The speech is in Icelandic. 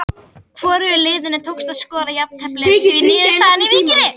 Hvorugu liðinu tókst að skora og jafntefli því niðurstaðan í Víkinni.